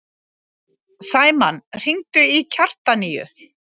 Sæmann, hringdu í Kjartaníu.